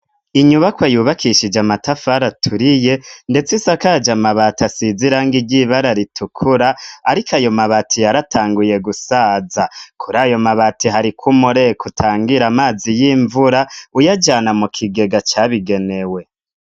Inyubakwa yubakishije amatafar' aturiye, ndets' isakaje mabati asiz'irangi ryibara ritukura ariko ayo mabati yaratanguye gusaza, kurayo mabati harik'umureko utangir' amazi y'imvura, uyajana mu kigega cabigenewe.